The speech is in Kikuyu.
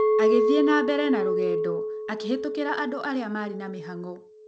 Agĩthiĩ na mbere na rũgendo, akĩhĩtũkĩra andũ arĩa maarĩ na mĩhang'o.